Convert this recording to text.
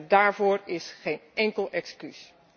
En daarvoor is geen enkel excuus.